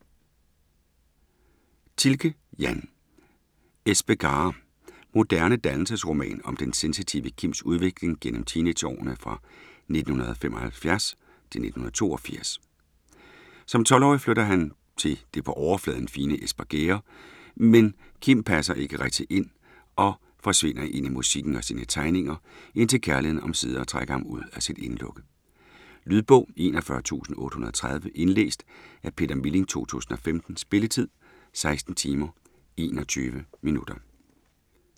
Thielke, Jan: Espegare Moderne dannelsesroman om den sensitive Kims udvikling gennem teenageårene fra 1975-1982. Som 12-årig flytter han til det på overfladen fine Espergærde, men Kim passer ikke rigtigt ind og forsvinder ind i musikken og sine tegninger, indtil kærligheden omsider trækker ham ud af sit indelukke. Lydbog 41830 Indlæst af Peter Milling, 2015. Spilletid: 16 timer, 21 minutter.